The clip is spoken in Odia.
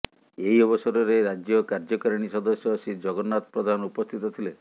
ଏହି ଅବସରରେ ରାଜ୍ୟ କାର୍ଯ୍ୟକାରିଣୀ ସଦସ୍ୟ ଶ୍ରୀ ଜଗନ୍ନାଥ ପ୍ରଧାନ ଉପସ୍ଥିତ ଥିଲେ